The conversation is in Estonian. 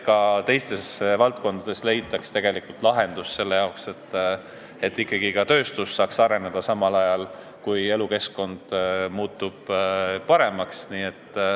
Ka teistes valdkondades tuleks leida lahendus selle jaoks, et ikkagi ka tööstus saaks areneda, samal ajal kui elukeskkond muutub paremaks.